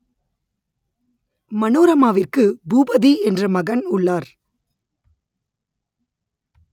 மனோரமாவிற்கு பூபதி என்ற மகன் உள்ளார்